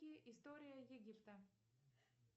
история египта